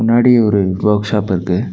முன்னாடி ஒரு workshop இருக்கு.